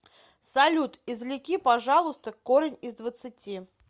салют извлеки пожалуйста корень из двадцати